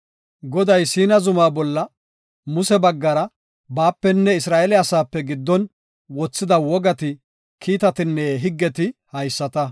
Goday Siina zuma bolla Muse baggara baapenne Isra7eele asaape giddon wothida wogati kiitatinne higgeti haysata.